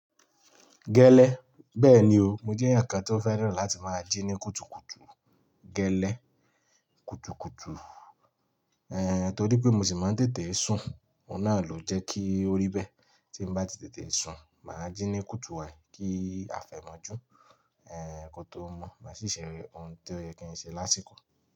Gẹ́lẹ́. Bẹ́ẹ̀ni o, mo jẹ́ ẹ̀yàn kan tó fẹ́ràn láti máa jí ní kùtùkùtù gẹ́lẹ́ kùtùkùtù. Torí pé mo sì máa ń tètè sun, òun náà ló jẹ́ kí ó rí bẹ́ẹ̀. Tí n bá ti tètè sun, màá jí ní kùtù wái, kí afẹ́ má jù kó tó mọ́. Màá ṣì ṣe ohun tó yẹ kí n ṣe lásìkò.